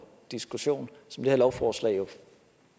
diskussion som det her lovforslag